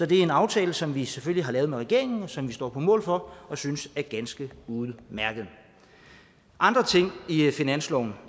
det er en aftale som vi selvfølgelig har lavet med regeringen og som vi står på mål for og synes er ganske udmærket andre ting i i finansloven